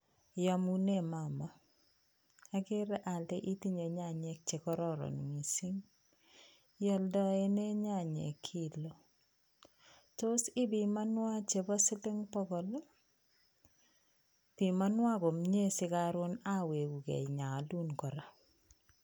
Iyamune mama, akere ole itinye nyanyik chekororon missing', ioldenei nyanyik kilo? Tos ipimanwan chebo siling' pokol ii? Pimanuan komie si karon awegukei inyoolun kora.